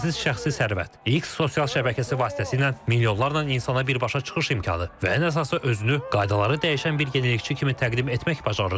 Sərhədsiz şəxsi sərvət, X sosial şəbəkəsi vasitəsilə milyonlarla insana birbaşa çıxış imkanı və ən əsası özünü qaydaları dəyişən bir yenilikçi kimi təqdim etmək bacarığı.